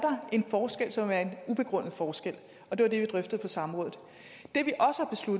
en forskel som er en ubegrundet forskel og det var det vi drøftede på samrådet